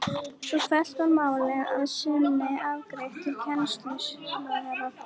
Svo fellt var málið að því sinni afgreitt til kennslumálaráðherra.